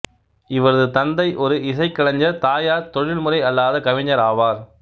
இவரது தந்தை ஒரு இசைக்கலைஞர் தாயார் தொழில்முறை அல்லாத கவிஞர் ஆவார்